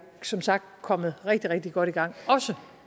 som sagt kommet rigtig rigtig godt i gang også